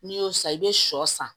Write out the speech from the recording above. N'i y'o san i bɛ sɔ san